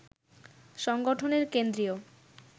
সংগঠনের কেন্দ্রীয়